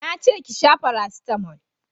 Na ce ki sha farasitamo